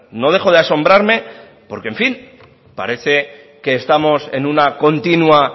no dejo de asombrarme porque en fin parece que estamos en una continua